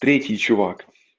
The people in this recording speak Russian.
третий чувак